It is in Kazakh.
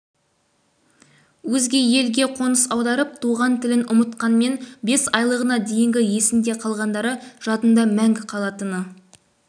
өзге елге қоныс аударып туған тілін ұмытқанмен бес айлығына дейінгі есінде қалғандары жадында мәңгі қалатыны